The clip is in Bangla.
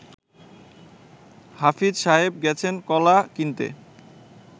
হাফিজ সাহেব গেছেন কলা কিনতে